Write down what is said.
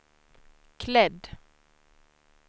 klädd